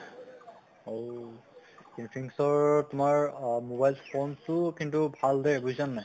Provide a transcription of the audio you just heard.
অহ infinite ৰ তোমাৰ অহ mobiles phone তো কিন্তু ভাল দে বুজিছা নে নাই